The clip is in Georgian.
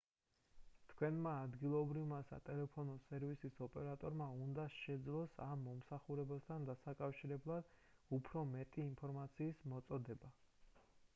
თქვენმა ადგილობრივმა სატელეფონო სერვისის ოპრატორმა უნდა შეძლოს ამ მომსახურებასთან დასაკავშირებლად უფრო მეტი ინფორმაციის მოწოდება